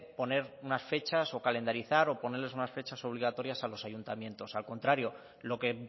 poner unas fechas o calendarizar o ponerles unas fechas a lo obligatorio a los ayuntamientos al contrario lo que